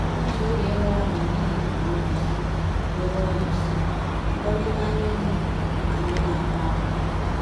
Otu okenye nwere amamihe dụrụ ọdụ sị, dụrụ ọdụ sị, “Kekọrịta anya mmiri na ndị na-akwa ákwá.”